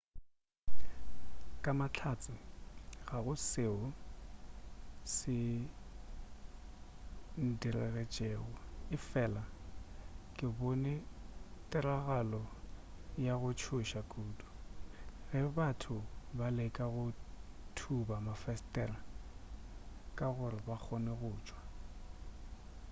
ka mahlatse ga go seo se ndiragetšego efela ke bone tiragalo ya go tšhoša kudu ge batho ba leka go thuba mafesetere gore ba kgone go tšwa